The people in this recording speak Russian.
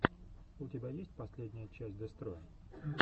у тебя есть последняя часть дестроя